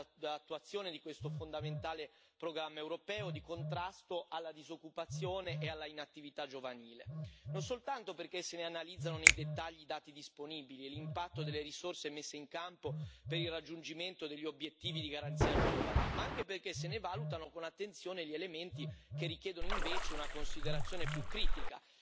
dell'attuazione di questo fondamentale programma europeo di contrasto alla disoccupazione e alla inattività giovanile, non soltanto perché se ne analizzano nei dettagli i dati disponibili e l'impatto delle risorse messe in campo per il raggiungimento degli obiettivi di Garanzia giovani, ma anche perché se ne valutano con attenzione gli elementi che richiedono invece una considerazione più critica,